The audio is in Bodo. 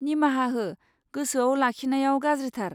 निमाहा हो, गोसोआव लाखिनायाव गाज्रिथार।